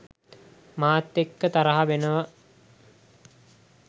මාත් එක්ක තරහා වෙනවා.